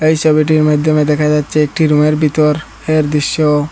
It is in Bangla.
এই ছবিটির মাইধ্যমে দেখা যাচ্ছে একটি রুমের ভিতর এর দৃশ্য।